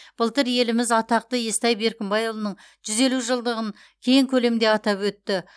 былтыр еліміз атақты естай беркімбайұлының жүз елу жылдығын кең көлемде атап өтті